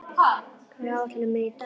Fjarki, hvað er á áætluninni minni í dag?